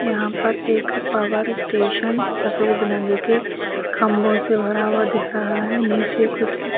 یہاں پر ایک پاور سٹیشن سفید رنگ کے کھمبوں سے بھرا ہوا دکھ رہا ہے نیچے کچھ. --